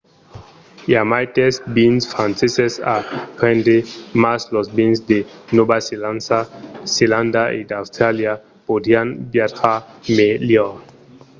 i a maites vins franceses a prendre mas los vins de nòva zelanda e d'austràlia podrián viatjar melhor